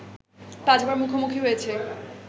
পাঁচবার মুখোমুখি হয়েছে